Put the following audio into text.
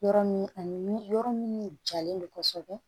Yɔrɔ min ani min yɔrɔ min jalen don kosɛbɛ